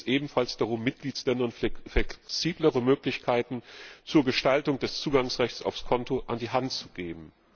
Hier geht es ebenfalls darum, Mitgliedstaaten flexiblere Möglichkeiten zur Gestaltung des Zugangsrechts aufs Konto an die Hand zu geben.